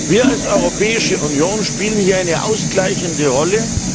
Wir als Europäische Union spielen hier eine ausgleichende Rolle.